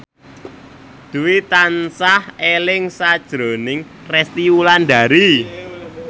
Dwi tansah eling sakjroning Resty Wulandari